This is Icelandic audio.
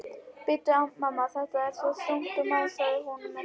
Bíddu, mamma, þetta er svo þungt, másaði hún með tilþrifum.